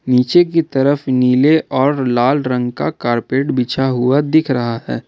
नीचे की तरफ नीले और लाल रंग का कारपेट बिछा हुआ दिख रहा है।